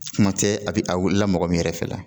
Kuma tɛ a bɛ a wili la mɔgɔ min yɛrɛ fɛ la